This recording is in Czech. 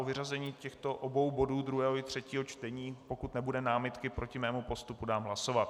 O vyřazení těchto obou bodů, druhého i třetího čtení - pokud nebude námitka proti mému postupu - dám hlasovat.